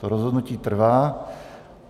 To rozhodnutí trvá.